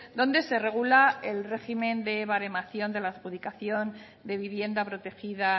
donde se regula el régimen de baremación de la adjudicación de vivienda protegida